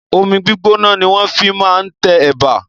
Omi gbígbóná ni wọ́n fi máa ń tẹ ẹ̀bà.